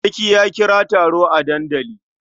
Sarki ya kira taro a dandali.